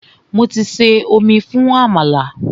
Mo ti bọ omi fún àmàlà.